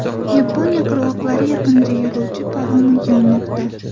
Yaponiya qirg‘oqlari yaqinida yo‘lovchi paromi yonmoqda.